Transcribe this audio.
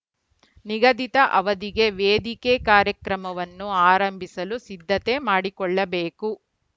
ನಿಗದಿತ ಅವಧಿಗೆ ವೇದಿಕೆ ಕಾರ್ಯಕ್ರಮವನ್ನು ಆರಂಭಿಸಲು ಸಿದ್ದತೆ ಮಾಡಿಕೊಳ್ಳಬೇಕು